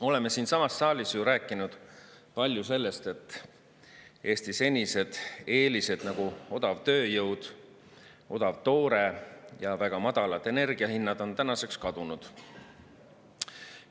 Oleme siinsamas saalis rääkinud palju sellest, et Eesti senised eelised, nagu odav tööjõud, odav toore ja väga madalad energia hinnad, on tänaseks kadunud.